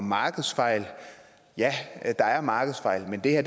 markedsfejl ja der er markedsfejl men det her